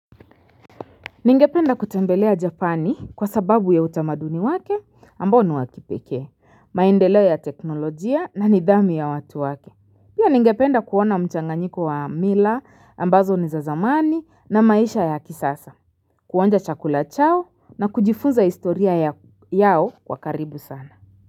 Ningependa kutembelea japani kwa sababu ya utamaduni wake ambao ni wa kipekee, maendeleo ya teknolojia na nidhamu ya watu wake. Pia ningependa kuona mchanganyiko wa mila ambazo ni za zamani na maisha ya kisasa, kuonja chakula chao na kujifunza historia yao kwa karibu sana.